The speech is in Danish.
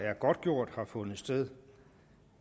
er godtgjort har fundet sted